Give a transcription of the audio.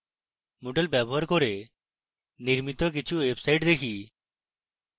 moodle ব্যবহার করে নির্মিত কিছু websites দেখি